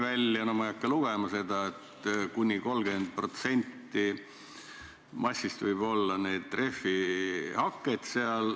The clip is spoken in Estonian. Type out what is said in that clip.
Ma ei hakka seda siin ette lugema, aga kuni 30% massist võib selles olla rehvihaket.